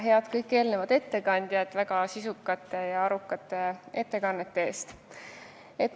Tänan ka kõiki eelmisi ettekandjaid väga sisukate ja arukate ettekannete eest!